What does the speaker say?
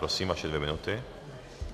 Prosím, vaše dvě minuty.